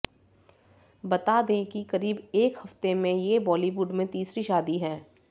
बता दें कि करीब एक हफ्ते में ये बाॅलीवुड में तीसरी शादी है